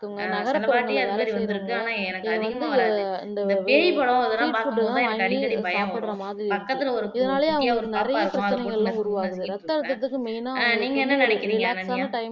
ஆஹ் அந்தமாறி வந்துருக்கு ஆனா எனக்கு அதிகமா வராது இந்த பேய் படம் அதெல்லாம் பார்க்கும்போதுதான் எனக்கு அடிக்கடி பயம் வரும் பக்கத்துல ஒரு குட்டியா ஒரு பாப்பா இருக்கும் அதைபோட்டு நசுக்கிட்டு இருப்பே நீங்க என்ன நினைக்கிறீங்க அனன்யா